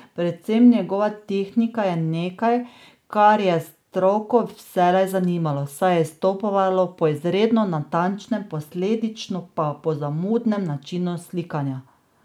Predvsem njegova tehnika je nekaj, ker je stroko vselej zanimalo, saj je izstopal po izredno natančnem, posledično pa zamudnem načinu slikanja.